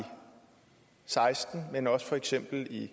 seksten men også for eksempel i